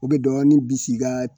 U be dɔɔnin bis'i ka